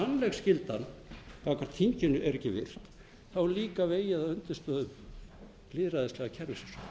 gagnvart þinginu er ekki virt er líka vegið að undirstöðu lýðræðislega kerfisins